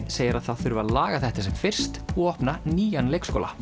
segir að það þurfi að laga þetta sem fyrst og opna nýjan leikskóla